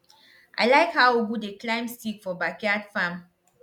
i like how ugu dey climb stick for backyard farm